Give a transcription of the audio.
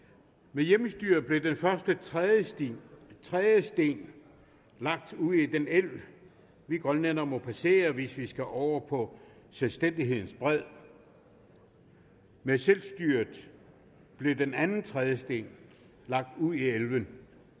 med hjemmestyret blev den første trædesten trædesten lagt ud i den elv vi grønlændere må passere hvis vi skal over på selvstændighedens bred med selvstyret blev den anden trædesten lagt ud i elven